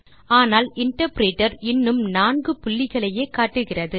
ஆனால் இன்டர்பிரிட்டர் இன்னும் நான்கு புள்ளிகளையே காட்டுகிறது